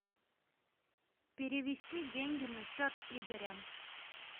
перевести деньги на счет игоря